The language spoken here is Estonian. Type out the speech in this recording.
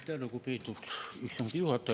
Aitäh, lugupeetud istungi juhataja!